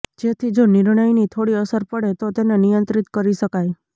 જેથી જો નિર્ણયની થોડી અસર પડે તો તેને નિયંત્રિત કરી શકાય